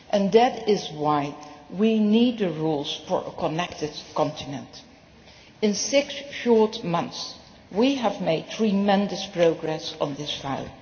That is why we need rules for a connected continent. In six short months we have made tremendous progress on this file.